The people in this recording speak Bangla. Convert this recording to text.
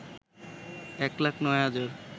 ১ লাখ ৯ হাজার